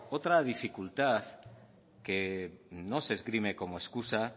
otra dificultad que no se esgrime como excusa